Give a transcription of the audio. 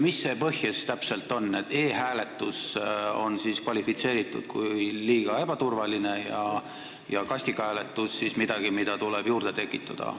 Mis see põhjus täpselt on, et e-hääletus on kvalifitseeritud liiga ebaturvaliseks, aga kasti abil hääletamine on midagi, mida tuleb juurde tekitada?